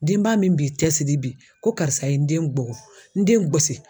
Denba min b'i cɛsidi bi ko karisa ye n den gɔgɔ n den gɛsi.